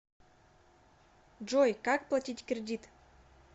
джой как платить кредит